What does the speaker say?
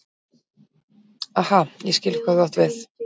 Aha, ég skil hvað þú átt við.